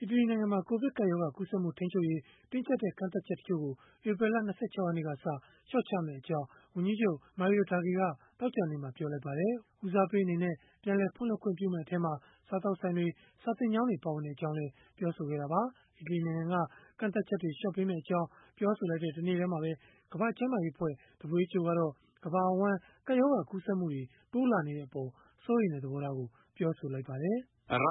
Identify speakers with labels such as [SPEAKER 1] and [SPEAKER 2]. [SPEAKER 1] အီတလီနိုင်ငံမှာ ကိုဗစ်ကပ်ရောဂါ ကူးစက်မှု ထိန်းချုပ်ရေး တင်းကြပ်တဲ့ ကန့်သတ်ချက် တချို့ကို ဧပြီလ ၂၆ ရက်နေ့ကစ လျှော့ချသွားမယ့်အကြောင်း ဝန်ကြီးချုပ် Mario Draghi က သောကြာနေ့မှာပဲ ပြောလိုက်ပါတယ်။ ဦးစားပေး အနေနဲ့ ပြန်လည်ဖွင့်လှစ်ခွင့်ပြုမယ့် အထဲမှာ စားသောက်ဆိုင်တွေ၊ စာသင်ကျောင်းတွေ ပါဝင်ကြောင်းလည်း ပြောဆိုခဲ့တာပါ။ အီတလီနိုင်ငံက ကန့်သတ်ချက်တွေ လျှော့ပေးမယ့်အကြောင်း ပြောဆိုလိုက်တဲ့ တနေ့တည်းမှာပဲ ကမ္ဘာ့ကျန်းမာရေးအဖွဲ့ WHO ကတော့ ကမ္ဘာအဝန်း ကပ်ရောဂါကူးစက်မှုတွေ တိုးလာနေတဲ့အပေါ် စိုးရိမ်တဲ့ သဘောထားကို ပြောဆိုလိုက်ပါတယ်။ “ကမ္ဘာ